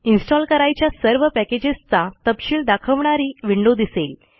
install करायच्या सर्व पॅकेजेसचा तपशील दाखवणारी विंडो दिसेल